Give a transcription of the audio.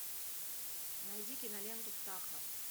найди киноленту птаха